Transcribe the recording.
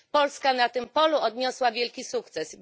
Polska na tym polu odniosła wielki sukces.